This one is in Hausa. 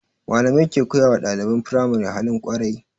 Malamai ke koyawa ɗaliban firamari halin kwarai